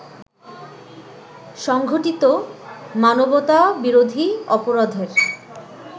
সংঘটিত মানবতাবিরোধী অপরাধের